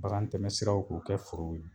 Bagan tɛmɛsiraw k'u kɛ foro ye